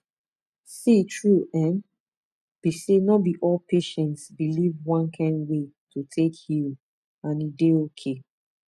see true um be say no be all patients believe one kind way to take heal and e dey okay